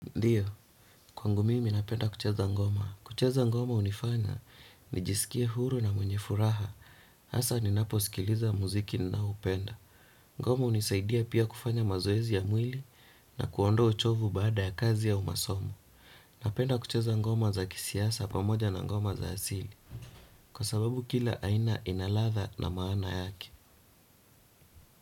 Ndiyo, kwangu mimi napenda kucheza ngoma. Kucheza ngoma hunifanya nijisikie huru na mwenye furaha. Hasa ninaposikiliza muziki ninaoupenda. Ngoma hunisaidia pia kufanya mazoezi ya mwili na kuondoa uchovu baada ya kazi au masomo. Napenda kucheza ngoma za kisiasa pamoja na ngoma za asili. Kwa sababu kila aina ina ladha na maana yake.